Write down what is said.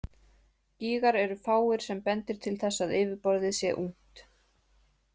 Gígar eru fáir sem bendir til þess að yfirborðið sé ungt.